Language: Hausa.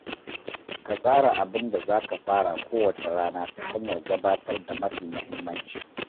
Ka tsara abinda za ka fara kowace rana ta hanyar gabatar da mafi muhimmanci.